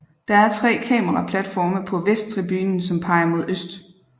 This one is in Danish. Der er tre kameraplatforme på vesttribunen som peger mod øst